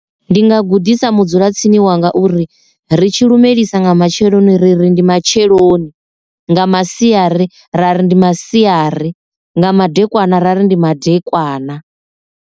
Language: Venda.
Ndi nga gudisa mudzula tsini wanga uri ri tshi lumelisa nga matsheloni ri ri ndi matsheloni, nga masiari ra ri ndi masiari, nga madekwana ra ri ndi madekwana.